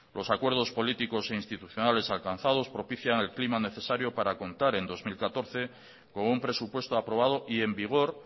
los acuerdos políticos e institucionales alcanzados propician el clima necesario para contar en dos mil catorce con un presupuesto aprobado y en vigor